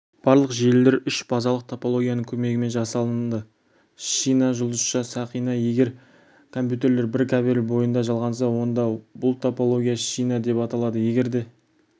барлық желілер үш базалық топологияның көмегімен жасалынды шина жұлдызша сақина егер компьютерлер бір кабель бойында жалғанса онда бұл топология шина деп аталады егер де